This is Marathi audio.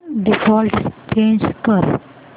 डिफॉल्ट चेंज कर